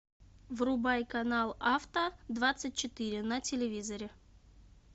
врубай канал авто двадцать четыре на телевизоре